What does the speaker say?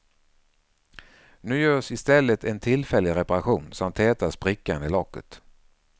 Nu görs i stället en tillfällig reparation som tätar sprickan i locket.